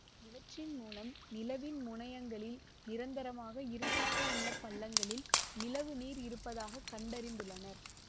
இவற்றின் மூலம் நிலவின் முனையங்களில் நிரந்தரமாக இருட்டாக உள்ள பள்ளங்களில் நிலவு நீர் இருப்பதாக கண்டறிந்துள்ளனர்